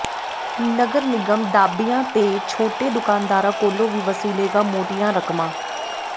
ਨਗਰ ਨਿਗਮ ਢਾਬਿਆਂ ਤੇ ਛੋਟੇ ਦੁਕਾਨਦਾਰਾਂ ਕੋਲੋਂ ਵੀ ਵਸੂਲੇਗਾ ਮੋਟੀਆਂ ਰਕਮਾਂ